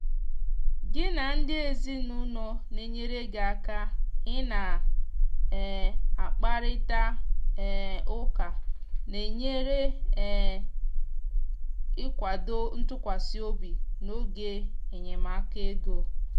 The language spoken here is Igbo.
gị na ndị ezinụlọ na enyere gị aka ị na um akparita um ụka na enyere um ikwado ntụkwasị obi n'oge enyemaka ego